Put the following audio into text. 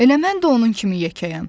Elə mən də onun kimi yekəyəm.